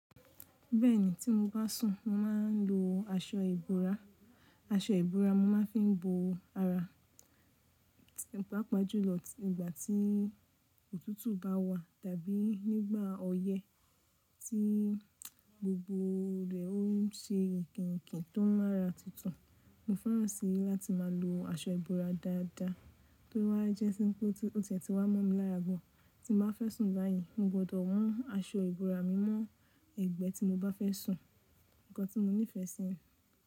Bẹ́ẹ̀ni tí mo bá sùn mo máa ń lo aṣọ ìbora, aṣọ ìbora mo máa fi ń bo ara, nípa pàjúlọ ìgbà tí òtútù bá wà tàbí nígbà ọyẹ́ tí gbogbo rẹ̀ ó ń ṣe èkìnkìn tó ń mára tutun Mo fẹ́ràn síi láti máa lo aṣọ ìbora dáadáa tó bá jẹ́ sí pé ó ti wá mọ́ mi lára bọ̀ tí mo bá fẹ́ sùn láàyè mo gbọdọ̀ hun aṣọ ìbora mi mọ́ ẹgbẹ́ tí mo bá fẹ́ sùn, nǹkan tí mo nífẹ̀ẹ́ síi.